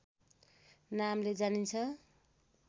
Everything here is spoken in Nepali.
नामले जानिन्छ